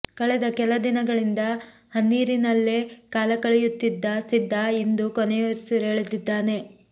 ಕಳೆದ ಕೆಲ ದಿನಗಳಿಂದ ಹಿನ್ನೀರನಲ್ಲೇ ಕಾಲ ಕಳೆಯುತ್ತಿದ್ದ ಸಿದ್ದ ಇಂದು ಕೊನೆಯುಸಿರೆಳೆದಿದ್ದಾನೆ